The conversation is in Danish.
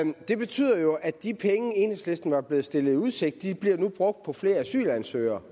det betyder jo at de penge enhedslisten var blevet stillet i udsigt nu bliver brugt på flere asylansøgere